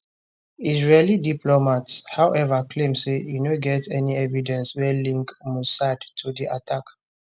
israeli diplomats however claim say e no get any evidence wey link mossad to di attack